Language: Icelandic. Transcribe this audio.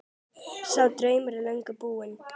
Sá draumur er löngu búinn.